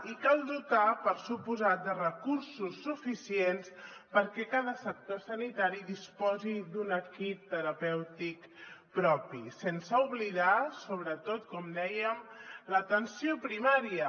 i cal dotar per descomptat de recursos suficients perquè cada sector sanitari disposi d’un equip terapèutic propi sense oblidar sobretot com dèiem l’atenció primària